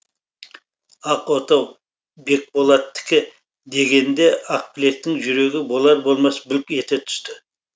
ақ отау бекболаттікі дегенде ақбілектің жүрегі болар болмас бүлк ете түсті